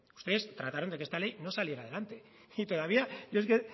ustedes trataron que esta ley no saliera adelante y todavía es que